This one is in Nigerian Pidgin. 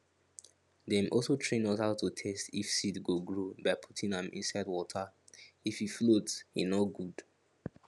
dem also train us how to test if seed go grow by putting am inside waterif he float he no good